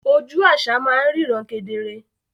Oju àṣà máa ń ríran kedere